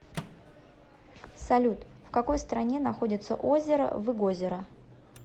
салют в какой стране находится озеро выгозеро